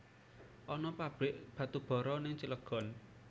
Ana pabrik batubara ning Cilegon